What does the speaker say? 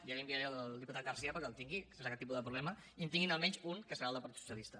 ja l’enviaré al diputat garcía perquè el tingui sense cap tipus de problema i que en tinguin almenys un que serà el del partit socialista